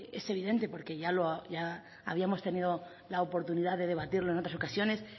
es evidente porque ya habíamos tenido la oportunidad de debatirlo en otras ocasiones